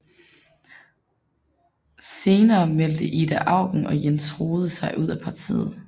Sener meldte Ida Auken og Jens Rohde sig ud af partiet